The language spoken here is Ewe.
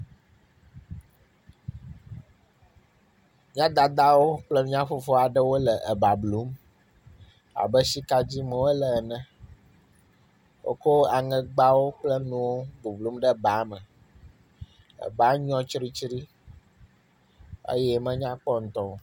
M]a dada kple m]a fofo aɖewo le eba blum abe sika dim wole ene. Wokɔ aŋegbanuwo le bublum ɖe ba me. Teƒe nyrɔ tsiɖitsiɖi eye menya kpɔ ŋtɔ o.